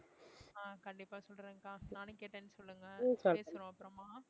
ஆஹ் கண்டிப்பா சொல்றேன் அக்கா நானும் கேட்டேன்னு சொல்லுங்க பேசுவோம் அப்பறமா